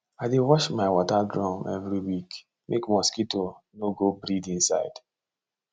i dey wash my water drum every week make mosquito no go breed inside